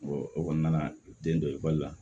o kɔnɔna na den dɔ ekɔli la